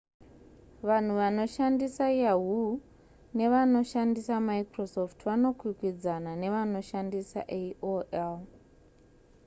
vanhu vanoshandisa yahoo nevanoshandisa microsoft vanokwikwidzaana nevanoshandisa aol